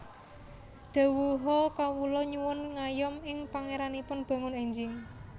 Dhawuha Kawula nyuwun ngayom ing Pangéranipun bangun énjing